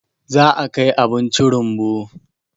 za a Kai abinci rumbu